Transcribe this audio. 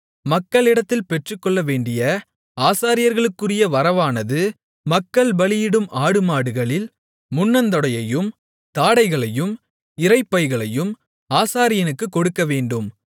மக்களிடத்தில் பெற்றுக்கொள்ளவேண்டிய ஆசாரியர்களுக்குரிய வரவானது மக்கள் பலியிடும் ஆடுமாடுகளில் முன்னந்தொடையையும் தாடைகளையும் இரைப்பைகளையும் ஆசாரியனுக்குக் கொடுக்கவேண்டும்